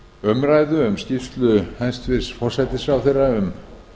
umræðu um skýrslu hæstvirts forsætisráðherra um